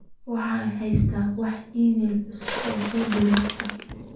waxaan haystaa wax iimayl cusub oo soo direy abdi